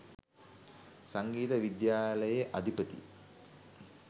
සංගීත විද්‍යාලයේ අධිපති